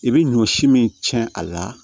I bɛ ɲɔ si min cɛn a la